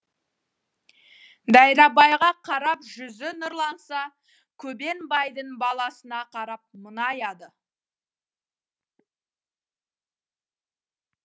дайрабайға қарап жүзі нұрланса көбен байдың баласына қарап мұңаяды